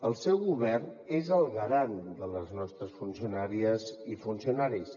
el seu govern és el garant de les nostres funcionàries i funcionaris